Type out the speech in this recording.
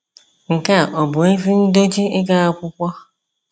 Nke a ọ̀ bụ ezi ndochi ịga akwụkwọ?